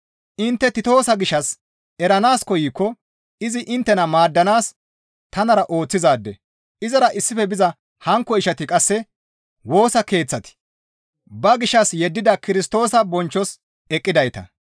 Intte Titoosa gishshas eranaas koykko izi inttena maaddanaas tanara ooththizaade; izara issife biza hankko ishati qasse Woosa Keeththati ba gishshas yeddida Kirstoosa bonchchos eqqidayta.